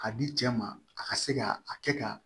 Ka di cɛ ma a ka se ka a kɛ ka